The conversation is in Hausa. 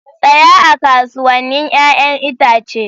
Tsaya a kasuwannin 'ya'yan itace.